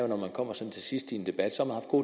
når man kommer til sidst i en debat